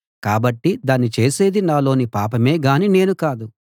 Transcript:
కాబట్టి దాన్ని చేసేది నాలోని పాపమే గాని నేను కాదు